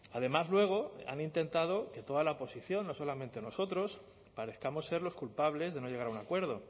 además luego han intentado que toda la oposición no solamente nosotros parezcamos ser los culpables de no llegar a un acuerdo